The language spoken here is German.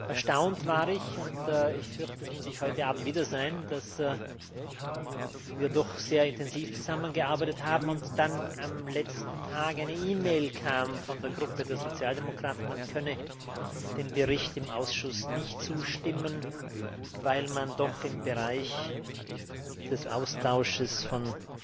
Erstaunt war ich und ich fürchte, das muss ich heute Abend wieder sein dass wir doch sehr intensiv zusammengearbeitet haben und dann am letzten Tag eine E Mail kam von der Fraktion der Sozialdemokraten, man könne dem Bericht im Ausschuss nicht zustimmen, weil man doch im Bereich des Austauschs